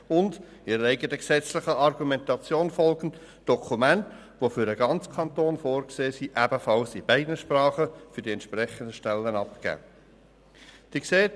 Sie soll vielmehr, ihrer eigenen gesetzlichen Argumentation folgend, Dokumente, die für den ganzen Kanton vorgesehen sind, den entsprechenden Stellen ebenfalls in beiden Sprachen abgeben.